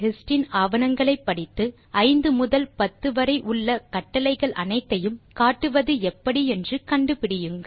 160hist இன் ஆவணங்களை படித்து 5 முதல் 10 வரை உள்ள கட்டளைகள் அனைத்தையும் காட்டுவது எப்படி என்று கண்டு பிடியுங்கள்